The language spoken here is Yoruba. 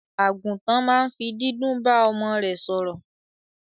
Àgùntàn ma n fi dídún ba ọmọ rẹ sòrò